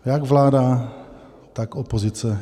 Jak vláda, tak opozice.